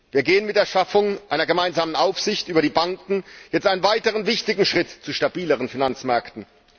Wir gehen mit der Schaffung einer gemeinsamen Aufsicht über die Banken jetzt einen weiteren wichtigen Schritt zu stabileren Finanzmärkten.